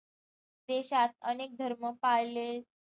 देशात अनेक धर्म पाळले